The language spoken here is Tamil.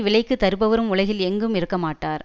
விலைக்குத் தருபவரும் உலகில் எங்கும் இருக்கமாட்டார்